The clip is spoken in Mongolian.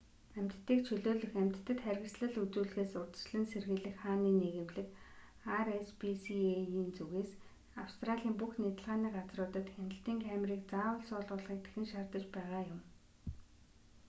амьтдыг чөлөөлөх амьтдад харгислал үзүүлэхээс урьдчилан сэргийлэх хааны нийгэмлэг rspca-ийн зүгээс австралийн бүх нядалгааны газруудад хяналтын камерыг заавал суулгахыг дахин шаардаж байгаа юм